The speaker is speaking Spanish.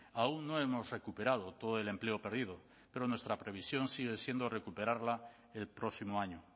aún no hemos recuperado todo el empleo perdido pero nuestra previsión sigue siendo recuperarla el próximo año